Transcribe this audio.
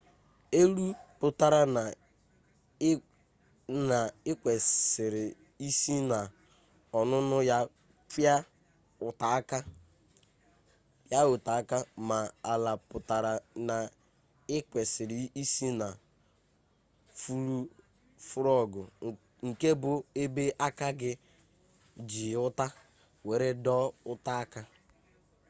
elu pụtara na ị kwesịrị isi n'ọnụnụ ya pịa ụta aka ma ala pụtara na ị kwesịrị isi na fụrọgụ nke bụ ebe aka gị ji ụta were dọọ ụta aka